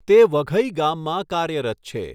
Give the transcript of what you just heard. તે વઘઈ ગામમાં કાર્યરત છે.